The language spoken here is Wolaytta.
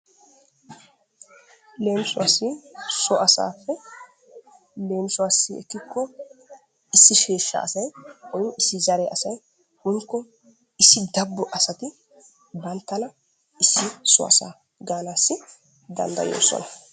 Leemisuwaassi so asaafe leemisuwaassi ekkiko issi sheeshaa asay woy issi zare asay woyikko issi dabbo asati bantana issi so asa gaanaassi dandayoosona.